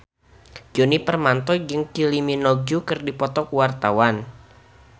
Djoni Permato jeung Kylie Minogue keur dipoto ku wartawan